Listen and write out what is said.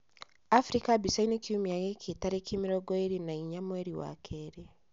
Abirika mbica-inĩ kiumia gĩkĩ, tarĩki mĩrongo ĩrĩ na inya mwerĩ wa kerĩ.